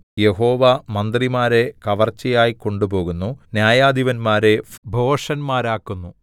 യഹോവ മന്ത്രിമാരെ കവർച്ചയായി കൊണ്ട് പോകുന്നു ന്യായാധിപന്മാരെ ഭോഷന്മാരാക്കുന്നു